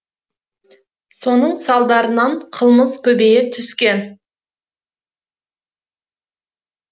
соның салдарынан қылмыс көбейе түскен